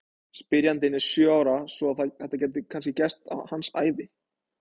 Spyrjandinn er sjö ára svo að þetta gæti kannski gerst á hans ævi!